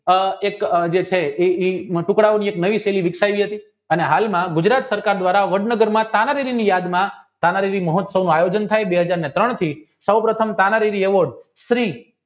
એ એક ટુકડા નવી શૈલી વિકસાવી હતી અને હાલમાં ગુજરાત સરકાર દ્વારા વડનગર માં તાના રીવીની યાદમાં તાનારીવિ મહોત્સવનું આયોજન થાય બે હાજર ને ત્રણ થી સૌ પ્રથમ તાનારીવિ સ્ત્રી